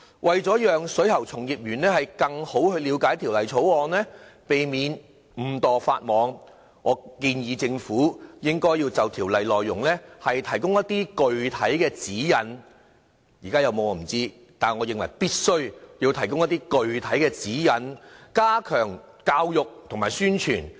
為讓水喉從業員更好地了解《條例草案》，避免誤墮法網，我建議政府應就條例內容提供具體指引——我不知道現時有沒有這方面的指引，但我認為必須提供具體指引，以加強教育和宣傳。